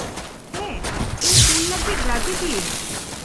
- ᱦᱮᱸ ᱤᱧ ᱠᱩᱞ ᱞᱟᱹᱜᱤᱫ ᱨᱟᱹᱡᱤ ᱜᱤᱭᱟᱹᱧ ᱾